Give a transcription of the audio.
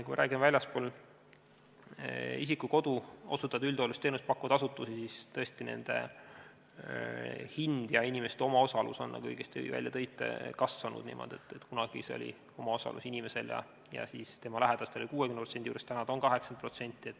Kui me räägime väljaspool isiku kodu osutatavat üldhooldusteenust pakkuvatest asutustest, siis tõesti, nende hind ja inimeste omaosalus, nagu te õigesti märkisite, on kasvanud niimoodi, et kui kunagi oli inimese ja tema lähedaste omaosalus 60% juures, siis nüüd on see 80%.